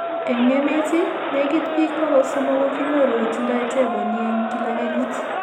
Eng' emeet, negit biik 300 ko kinyoru kotindo tepo ni eng' kila kenyit.